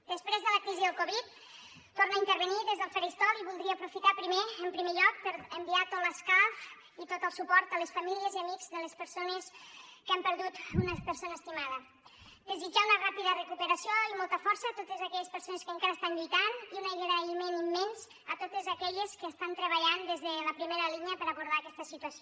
després de la crisi del covid torno a intervenir des del faristol i voldria aprofitar primer en primer lloc per enviar tot l’escalf i tot el suport a les famílies i amics de les persones que han perdut una persona estimada desitjar una ràpida recuperació i molta força a totes aquelles persones que encara estan lluitant i un agraïment immens a totes aquelles que estan treballant des de la primera línia per abordar aquesta situació